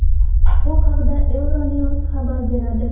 Bu haqda EuroNews xabar beradi.